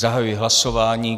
Zahajuji hlasování.